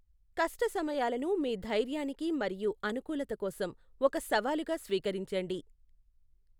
కష్ట సమయాలను మీ ధైర్యానికి మరియు అనుకూలత కోసం ఒక సవాలుగా స్వీకరించండి.